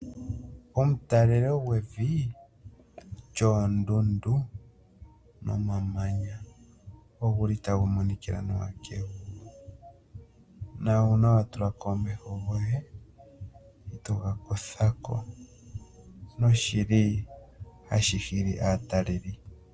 Omu talelo gwevi lyoondundu nomamanya, ogu li tagu monikila nawa kevi. Na uuna wa tulako omeho goye, eto ga kuthako noshi li hashi hi li aataleli.